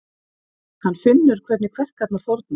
Hann finnur hvernig kverkarnar þorna.